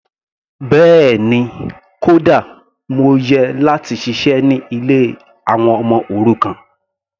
Bẹ́ẹ̀ni, kódà mo yẹ láti ṣiṣẹ́ ní ilé àwọn ọmọ òrukàn.